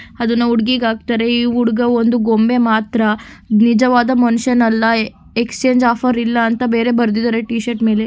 ಅದನ್ನು ಹುಡುಗಿಗ ಹಾಕ್ತಾರೆ ಈ ಹುಡುಗ ಒಂದು ಗೊಂಬೆ ಮಾತ್ರ ನಿಜವಾದ ಮನುಷ್ಯನಲ್ಲ ಎಕ್ಸಚೇಂಜ್ ಆಫರ್ ಇಲ್ಲ ಅಂತ ಬೇರೆ ಬರೆದಿದ್ದಾರೆ ಟಿ ಶರ್ಟ್ ಮೇಲೆ.